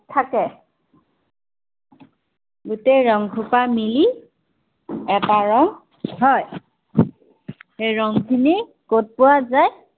থাকে। গাটেই ৰংসোপা মিলি এটা ৰং হয়। সেই ৰং খিনি কত পোৱা যায়